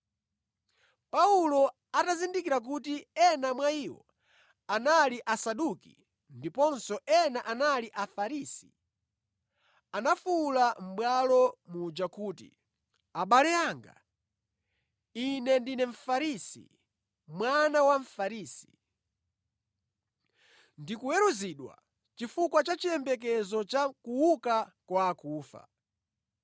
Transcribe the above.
Paulo atazindikira kuti ena mwa iwo anali Asaduki ndiponso ena anali Afarisi, anafuwula mʼbwalo muja kuti, “Abale anga, ine ndine Mfarisi, mwana wa Mfarisi. Ndikuweruzidwa chifukwa cha chiyembekezo cha kuuka kwa akufa.”